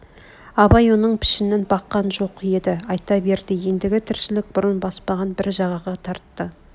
абай оның пішінін баққан жоқ еді айта берді ендгі тіршілік бұрын баспаған бір жағаға тартты